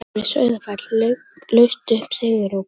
Flokkurinn við Sauðafell laust upp sigurópi.